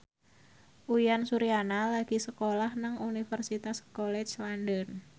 Uyan Suryana lagi sekolah nang Universitas College London